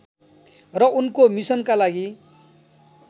र उनको मिसनका लागि